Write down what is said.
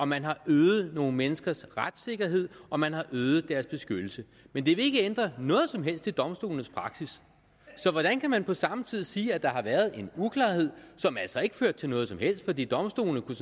man har øget nogle menneskers retssikkerhed og man har øget deres beskyttelse men det vil ikke ændre noget som helst i domstolenes praksis så hvordan kan man på samme tid sige at der har været en uklarhed som altså ikke førte til noget som helst fordi domstolene